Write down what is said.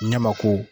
Ne ma ko